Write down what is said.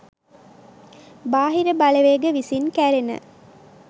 බාහිර බලවේග විසින් කැරෙන